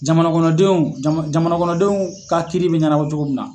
Jamana kɔnɔdenw jama jamana kɔnɔdenw ka kiiri bɛ ɲanabɔ cogo min na.